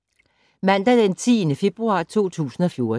Mandag d. 10. februar 2014